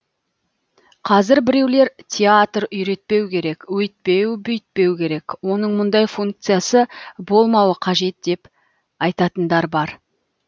қазір біреулер театр үйретпеу керек өйтпеу бүйтпеу керек оның мұндай функциясы болмауы қажет деп айтатындар бар